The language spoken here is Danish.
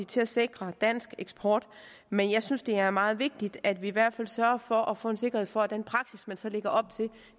til at sikre dansk eksport men jeg synes det er meget vigtigt at vi i hvert fald sørger for at få en sikkerhed for at den praksis man så lægger op til